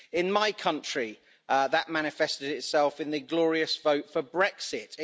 In my country, that manifested itself in the glorious vote for Brexit.